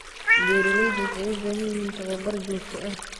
Beeraleydu waxay u baahan yihiin tababar joogto ah.